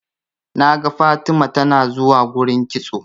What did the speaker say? naga Fatima tanazuwa gurin kitso